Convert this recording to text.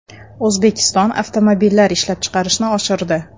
O‘zbekiston avtomobillar ishlab chiqarishni oshirdi.